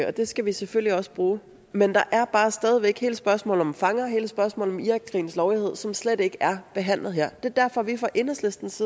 og det skal vi selvfølgelig også bruge men der er bare stadig væk hele spørgsmålet om fanger hele spørgsmålet om irakkrigens lovlighed som slet ikke er behandlet her det er derfor at vi fra enhedslistens